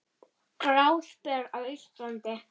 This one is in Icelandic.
Gráspör á Íslandi